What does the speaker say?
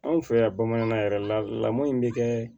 Anw fɛ yan bamanankan yɛrɛ lamɔ in bɛ kɛ